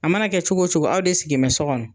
A mana kɛ cogo o cogo aw de sigi bɛ so kɔnɔ